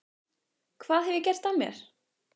Hvað hef ég gert af mér?